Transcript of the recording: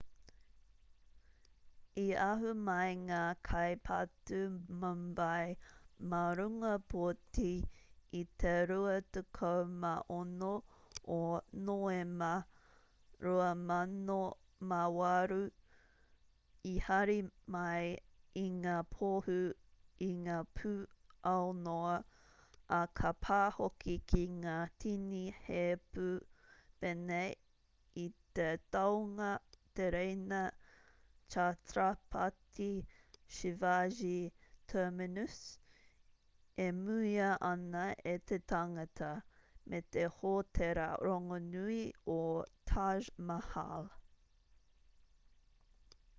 i ahu mai ngā kai patu mumbai mā runga poti i te 26 o noema 2008 i hari mai i ngā pohū i ngā pū aunoa ā ka pā hoki ki ngā tini heipū pēnei i te tāunga tereina chhatrapati shivaji terminus e muia ana e te tangata me te hōtēra rongonui o taj mahal